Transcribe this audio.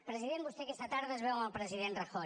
president vostè aquesta tarda es veu amb el president rajoy